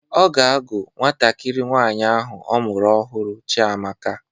Ọ ga-àgú nwantakịrị nwaanyi ahụ ọ mụrụ ọhụrụ Chiamaka.